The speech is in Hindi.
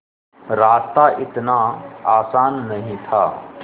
रास्ता इतना आसान नहीं था